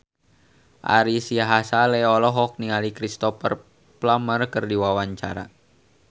Ari Sihasale olohok ningali Cristhoper Plumer keur diwawancara